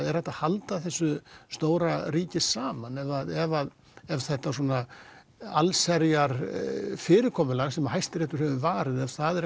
er hægt að halda þessu stóra ríki saman ef ef ef þetta alls herjar fyrirkomulag sem Hæstiréttur hefur varið ef það er